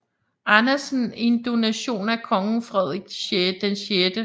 Andersen en donation af kong Frederik 6